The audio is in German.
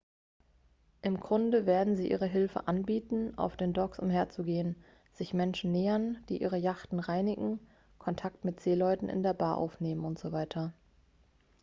im grunde werden sie ihre hilfe anbieten auf den docks umhergehen sich menschen nähern die ihre yachten reinigen kontakt mit seeleuten in der bar aufnehmen usw